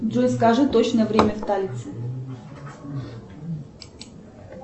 джой скажи точное время в талице